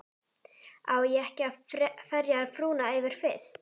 Á ég ekki að ferja frúna yfir fyrst?